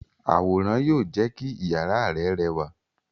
Àwòrán yóò jé kí iyàrá rẹ rẹwà.